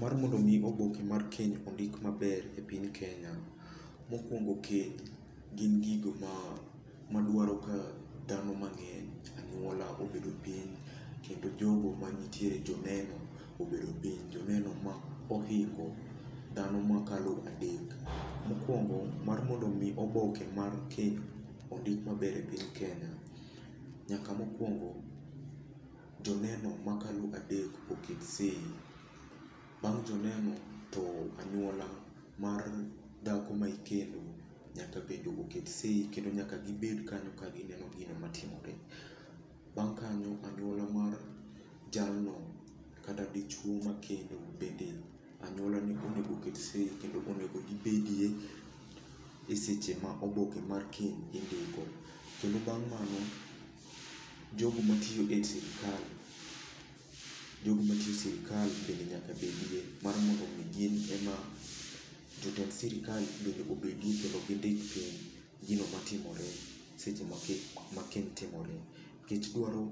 Mar mondo mi oboke mar keny ondik maber e piny Kenya, mokuongo keny gin gigo ma madwaro ka dhano mang'eny, anyuola obedo piny, kendo jogo ma nitiere, joneno obedo piny. Joneno ma ohingo dhano ma kalo adek. Mokuongo mar mondo mi oboke mar keny ondik maber e piny Kenya, nyaka mokuongo joneno makalo adek oket seyi. Bang' joneno, to anyuola mar dhako ma ikendo nyaka bende oket seyi kendo nyaka gibedo kanyo ka gineno gino matimore. Bang' kanyo, anyuola mar jalno kata dichuo ma kendo bende anyuola ne onego oket seyi kendo onego gibedie e seche ma oboke mar keny indiko. Kendo bang' mano, jogo matiyo e sirkal, jogo matiyo e sirkal bende nyaka bedie mar mondo mi gin e ma, jotend sirkal bende obedie kendo gindik piny gino matimore seche ma keny, ma keny timore. Nikech dwaro,